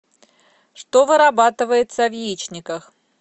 что вырабатывается в яичниках